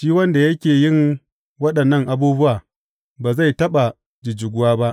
Shi wanda yake yin waɗannan abubuwa ba zai taɓa jijjiguwa ba.